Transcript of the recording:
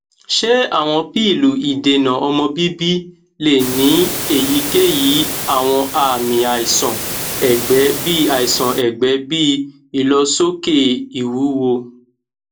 ṣe awọn pilu idena omo bibi le ni eyikeyi awọn aami aisan ẹgbẹ bi aisan ẹgbẹ bi ilosoke iwuwo